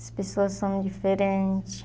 As pessoas são diferente.